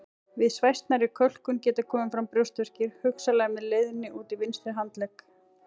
Við svæsnari kölkun geta komið fram brjóstverkir hugsanlega með leiðni út í vinstri handlegg.